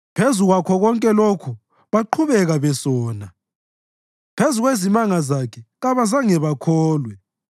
Phezu kwakho konke lokhu baqhubeka besona; phezu kwezimanga zakhe, kabazange bakholwe.